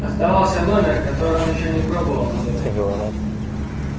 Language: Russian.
оставался номер который он ещё не пробовал набирать